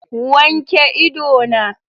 Wanke ido na!